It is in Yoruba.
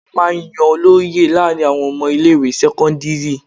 A máa ń yan olóyè láàárín àwọn ọmọ ilé ìwé sẹ́kọ́ńdírì.